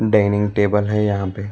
Dining table है यहां पे।